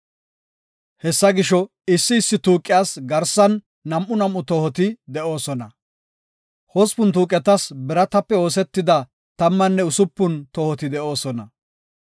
Hessa gisho, issi issi tuuqiyas garsan nam7u nam7u tohoti de7oosona. Hospun tuuqetas biratape oosetida tammanne usupun tohoti de7oosona.